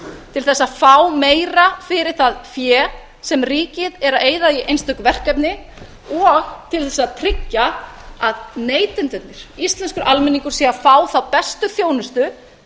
til þess að fá meira fyrir það fé sem ríkið er að eyða í einstök verkefni og til þess að tryggja að neytendurnir íslenskur almenningur sé að fá þá bestu þjónustu